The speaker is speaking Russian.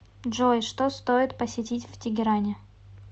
джой что стоит посетить в тегеране